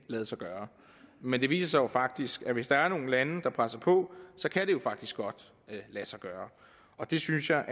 lade sig gøre men det viser sig faktisk at hvis der er nogle lande der presser på så kan det faktisk godt lade sig gøre det synes jeg